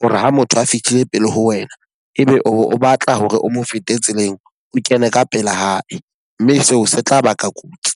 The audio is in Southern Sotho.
hore ha motho a fitlhile pele ho wena e be o batla hore o mo fete tseleng o kene ka pela hae. Mme seo se tla baka kotsi.